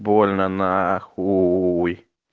больно нахуй